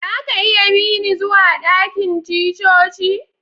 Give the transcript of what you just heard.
Za ka iya bi ni zuwa dakin ticcoci?